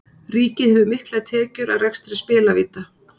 Ríkið hefur miklar tekjur af rekstri spilavíta.